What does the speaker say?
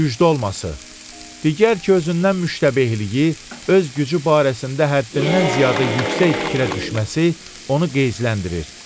Gücdə olması digər ki, özündən müştəbehliyi, öz gücü barəsində həddindən ziyadə yüksək fikrə düşməsi onu qeyzləndirir.